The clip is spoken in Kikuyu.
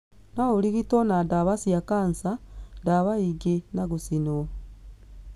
No ũrigitwo na ndawa cia kanca, ndawa ingĩ na gũcinwo.